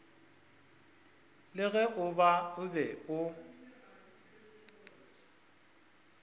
le ge o be o